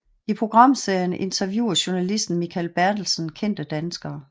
I programserien interviewer journalisten Mikael Bertelsen kendte danskere